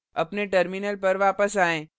अपने terminal पर वापस आएँ